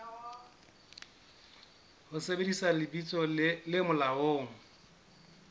ho sebedisa lebitso le molaong